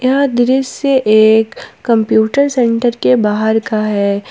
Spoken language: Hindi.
यह दृश्य एक कंप्यूटर सेंटर के बाहर का है।